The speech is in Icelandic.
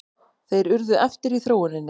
Þeir urðu eftir í þróuninni.